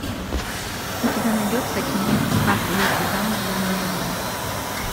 у тебя найдется кинчик как выйти замуж за миллионера